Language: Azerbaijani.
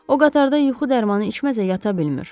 O qatarda yuxu dərmanı içməsə yata bilmir.